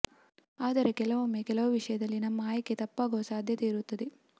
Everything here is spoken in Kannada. ಆದರೆ ಕೆಲವೊಮ್ಮೆ ಕೆಲವು ವಿಷಯದಲ್ಲಿ ನಮ್ಮ ಆಯ್ಕೆ ತಪ್ಪಾಗುವ ಸಾಧ್ಯತೆ ಇರುತ್ತದೆ